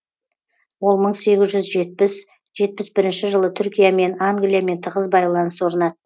ол мың сегіз жүз жетпіс жетпіс бірінші жылы түркиямен англиямен тығыз байланыс орнады